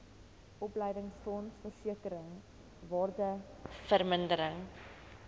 opleidingsfonds versekering waardevermindering